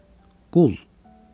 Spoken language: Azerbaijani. Qul.